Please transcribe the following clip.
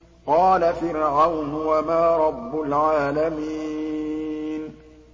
قَالَ فِرْعَوْنُ وَمَا رَبُّ الْعَالَمِينَ